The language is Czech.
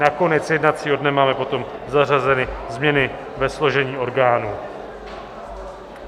Na konec jednacího dne máme potom zařazeny změny ve složení orgánů.